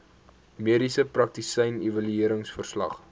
mediese praktisyn evalueringsverslag